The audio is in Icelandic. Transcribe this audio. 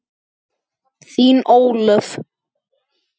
Þín, Ólöf.